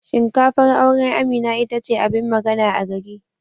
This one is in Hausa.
Shinkafar auren Amina ita ce abin magana a gaki.